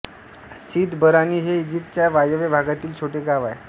सिद Barrani हे इजिप्तच्या वायव्य भागातील छोटे गाव आहे